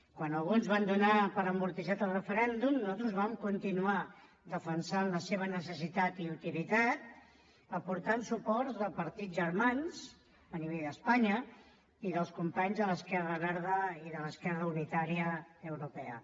quan alguns van donar per amortitzat el referèndum nosaltres vam continuar defensant la seva necessitat i utilitat i hi vam aportar suports de partits germans a nivell d’espanya i dels companys de l’esquerra verda i de l’esquerra unitària europea